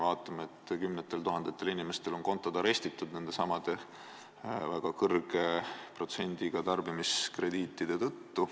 Kümnetel tuhandetel inimestel on konto arestitud väga kõrge protsendiga tarbimiskrediitide tõttu.